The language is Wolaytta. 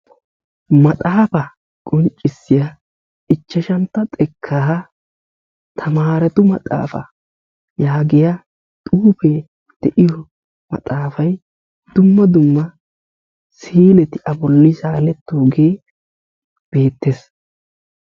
Maxaafa qonccissiya ichashshantta xekkaa tamaretu maxaafa yaagiyaa maxaafa dumma dumma sileti a bolli saaletooge beettees.